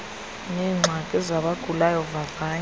neengxaki zabagulayo vavanyo